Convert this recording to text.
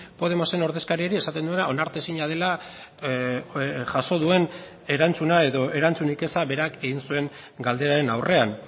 podemosen ordezkariari esaten duena onartezina dela jaso duen erantzuna edo erantzunik eza berak egin zuen galderaren aurrean